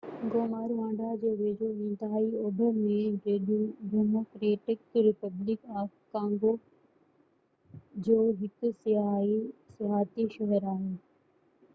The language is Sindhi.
گوما روانڊا جي ويجهو انتهائي اوڀر ۾ ڊيموڪريٽڪ ريپبلڪ آف ڪانگو جو هڪ سياحتي شهر آهي